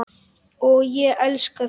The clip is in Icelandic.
Og ég elska þig!